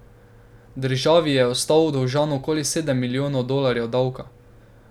Državi je ostal dolžan okoli sedem milijonov dolarjev davka.